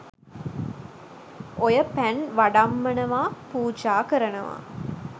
ඔය "පැන්" "වඩම්මනවා" "පුජා කරනවා"